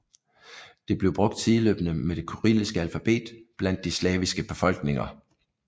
Det blev brugt sideløbende med det kyrilliske alfabet blandt de slaviske befolkninger